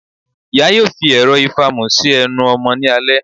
Iyá yóò fi erò ifamù si ẹnu ọmọ ni alẹ